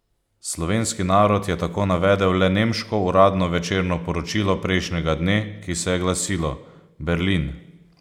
Slovenski narod je tako navedel le nemško uradno večerno poročilo prejšnjega dne, ki se je glasilo: "Berlin.